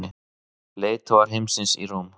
Leiðtogar heimsins í Róm